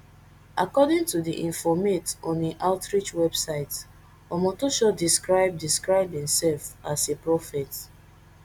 according to di informate on im outreach website omotoso describe describe imsef as a prophet